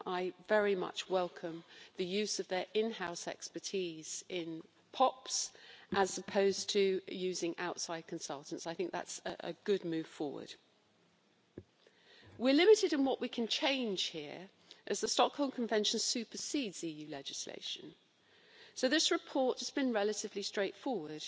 I very much welcome the use of their in house expertise on POPs, as opposed to using outside consultants. That is a good move forward. We're limited in what we can change here, as the Stockholm Convention supersedes the EU legislation, so this report has been relatively straightforward